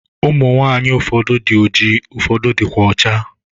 Ụmụ nwaanyị ụfọdụ dị oji ụfọdụ dịkwa ọcha.